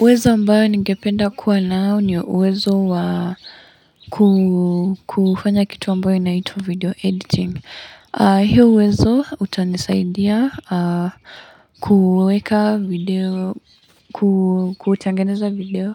Uwezo ambayo ningependa kuwa nao ni uwezo wa kufanya kitu ambayo inaitwa video editing. Hio uwezo utanisaidia kuweka video, kutangeneza video